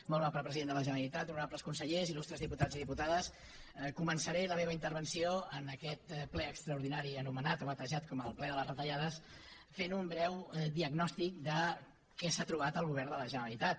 molt honorable president de la generalitat honorables consellers illustres diputats i diputades començaré la meva intervenció en aquest ple extraordinari anomenat o batejat com el ple de les retallades fent un breu diagnòstic de què s’ha trobat el govern de la generalitat